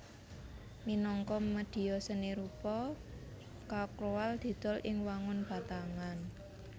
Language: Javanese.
Minangka médhia seni rupa charcoal didol ing wangun batangan